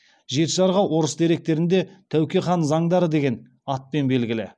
жеті жарғы орыс деректерінде тәуке хан заңдары деген атпен белгілі